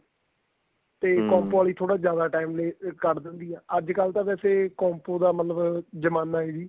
ਤੇ compo ਵਾਲੀ ਥੋੜਾ ਜਿਆਦਾ time ਲੈ ਕੱਟ ਦਿੰਦੀ ਆ ਅੱਜਕਲ ਤਾਂ ਵੈਸੇ compo ਦਾ ਮਤਲਬ ਜਮਾਨਾ ਏ ਜੀ